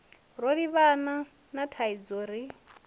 ro livhana na thaidzo ri